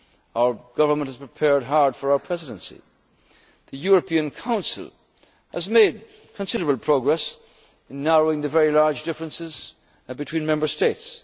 of Presidents. Our government has prepared hard for our Presidency. The European Council has made considerable progress in narrowing the very large differences between